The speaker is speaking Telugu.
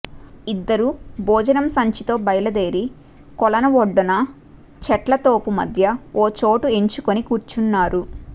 ఇద్దరూ భోజనం సంచీతో బయలుదేరి కొలను ఒడ్డున చెట్లతోపు మధ్య ఓ చోటు ఎంచుకుని కూర్చున్నారు